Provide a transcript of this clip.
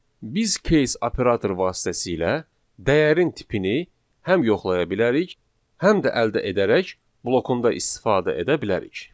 Biz case operator vasitəsilə dəyərin tipini həm yoxlaya bilərik, həm də əldə edərək blokunda istifadə edə bilərik.